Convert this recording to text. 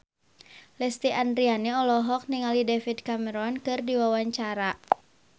Lesti Andryani olohok ningali David Cameron keur diwawancara